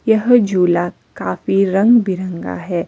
यह झूला काफी रंग बिरंगा हैं।